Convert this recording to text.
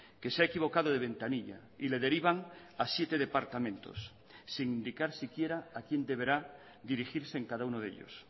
que se ha equivocado de ventanilla y le derivan a siete departamentos sin indicar siquiera a quién deberá dirigirse en cada uno de ellos